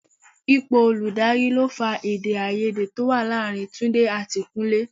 Ipò olùdarí ló fa èdè-áiyedé to wá láàárín Túndé àti Kúnlé.